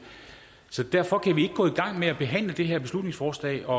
så derfor kan vi ikke gå i gang med at behandle det her beslutningsforslag og